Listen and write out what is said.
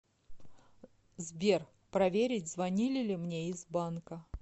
сбер проверить звонили ли мне из банка